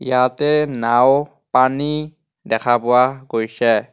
ইয়াতে নাওঁ পানী দেখা পোৱা গৈছে.